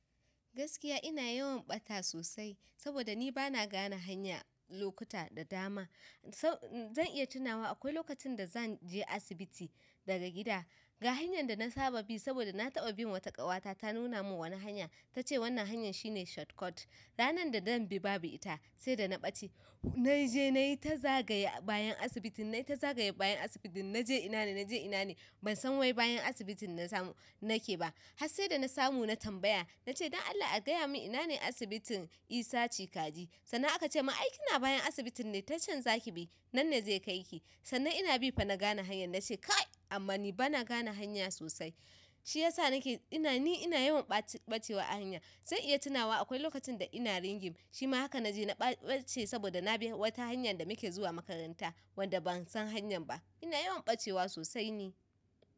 Gaskiya ina yawan ɓata sosai saboda ni bana gane hanya, lokuta da dama. Zan iya tunawa akwai lokacin da zanje asibiti daga gida, ga hanyar da na saba bi saboda na taɓa bin wata ƙawata ta nuna min hanya ta ce wannan hanyar shine shortcut. Ranar da zan bi babu ita, sai da na ɓace. Naje nayi ta zagaye bayan asibitin nayi ta zagaye bayan asibitin naje ina ne, naje ina ne ban san wai bayan asibitin nake ba. Har se da na samu na tambaya na ce don Allah a gaya min ina ne asibitin Isah Chikaji. Sannan aka ce mun ai kina bayan asibitin ne ta can zaki bi, nan ne zai kaiki. Sannan ina bi fa na gane hanyar na ce kai amman ni bana gane hanya sosai. Shi yasa na ke ni ina yawan ɓacewa a hanya. Zan iya tunawa akwai lokacin da ina ringim shima haka naje na ɓace saboda na bi wata hanyar da muke zuwa makaranta wanda ban san hanyar ba. Ina yawan ɓacewa sosai ne.